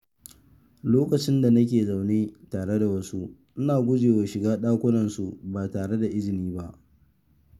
Lokacin da nake zaune tare da wasu, ina gujewa shiga dakunan su ba tare da izininsu ba.